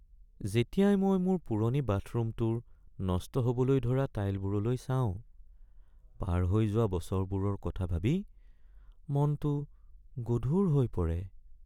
যেতিয়াই মই মোৰ পুৰণি বাথৰুমটোৰ নষ্ট হ'বলৈ ধৰা টাইলবোৰলৈ চাওঁ, পাৰ হৈ যোৱা বছৰবোৰৰ কথা ভাবি মনটো গধুৰ হৈ পৰে।